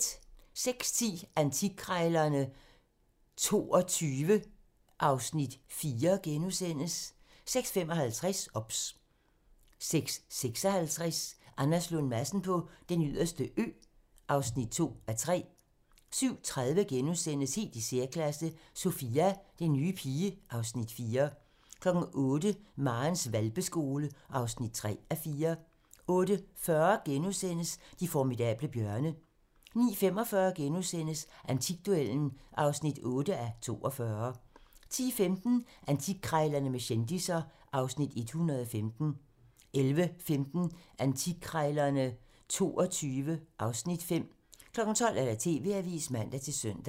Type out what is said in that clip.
06:10: Antikkrejlerne XXII (Afs. 4)* 06:55: OBS 06:56: Anders Lund Madsen på Den Yderste Ø (2:3) 07:30: Helt i særklasse - Sophia, den nye pige (Afs. 4)* 08:00: Marens hvalpeskole (3:4) 08:40: De formidable bjørne * 09:45: Antikduellen (8:42)* 10:15: Antikkrejlerne med kendisser (Afs. 115) 11:15: Antikkrejlerne XXII (Afs. 5) 12:00: TV-avisen (man-søn)